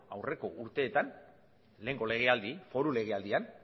aurreko urteetan lehengo foru legealdian